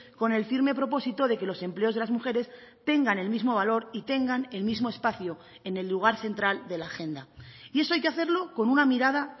con el firme propósito de que los empleos de las mujeres tengan el mismo valor y tengan el mismo espacio en el lugar central de la agenda y eso hay que hacerlo con una mirada